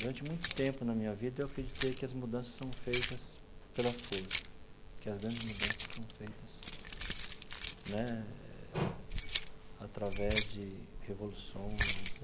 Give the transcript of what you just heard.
Durante muito tempo na minha vida, eu acreditei que as mudanças são feitas pela força, que as grandes mudanças são feitas né através de revoluções.